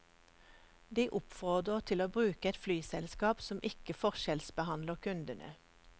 De oppfordrer til å bruke et flyselskap som ikke forskjellsbehandler kundene.